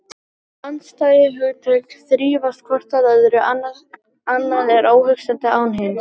Þessi andstæðu hugtök þrífast hvort á öðru, annað er óhugsandi án hins.